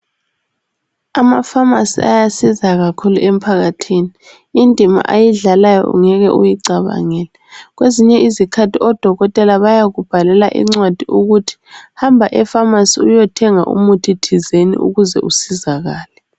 Amafamasi ayasiza kakhulu emphakathini. Indima ayidlalayo ungeke uyicabangele. Kwazinye izikhathi odokotela bayakubhalalela incwadi ukuthi hamba efamasi uyethenga umuthi thizeni ukuze isizakale.